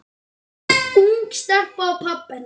Ung stelpa og pabbi hennar.